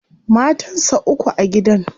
Matan sa uku a gidan.